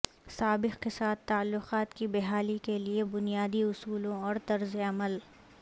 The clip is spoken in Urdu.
سابق کے ساتھ تعلقات کی بحالی کے لئے بنیادی اصولوں اور طرز عمل